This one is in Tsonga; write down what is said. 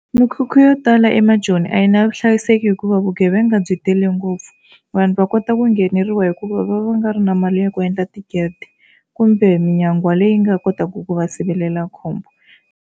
Mikhukhu yo tala emajoni a yi na vuhlayiseki hikuva vugevenga byi tele ngopfu vanhu va kota ku ngheneriwa hikuva va va nga ri na mali ya ku endla tigede kumbe minyangwa leyi nga kotaka ku va sivelela khombo.